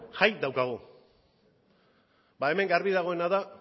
jai daukagu ba hemen garbi dagoena da